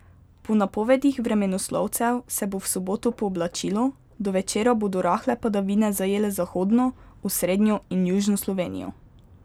Po napovedih vremenoslovcev se bo v soboto pooblačilo, do večera bodo rahle padavine zajele zahodno, osrednjo in južno Slovenijo.